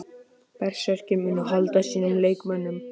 Berserkir: Munu halda sínum leikmönnum.